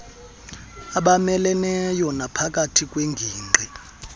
abameleneyo naphakathi kweengingqi